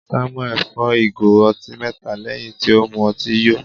Samuel fọ́ ìgò ọtí mẹta lẹ́hìn tí ó mu ọtí yó.